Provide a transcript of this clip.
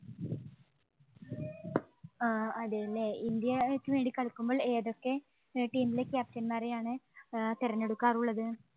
ആഹ് അതേല്ലേ, ഇന്ത്യക്ക് വേണ്ടി കളിക്കുമ്പോള്‍ ഏതൊക്കെ team ഇലെ captain മാരെ ആണ് ഏർ തെരഞ്ഞെടുക്കാറുള്ളത്?